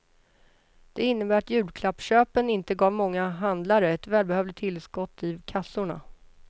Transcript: Det innbär att julklappsköpen inte gav många handlare ett välbehövligt tillskott i kassorna.